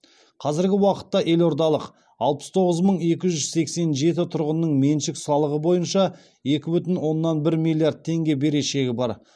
қазіргі уақытта елордалық алпыс тоғыз мың екі жүз сексен жеті тұрғынның меншік салығы бойынша екі бүтін оннан бір миллиард теңге берешегі бар